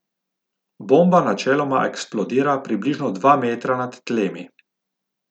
Bomba načeloma eksplodira približno dva metra nad tlemi.